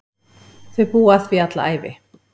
Þau búa að því alla ævi.